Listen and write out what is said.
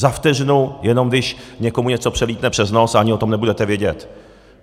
Za vteřinu, jenom když někomu něco přelítne přes nos, a ani o tom nebudete vědět.